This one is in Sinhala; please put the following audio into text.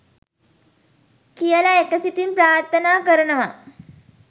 කියල එකසිතින් ප්‍රාර්ථනා කරනව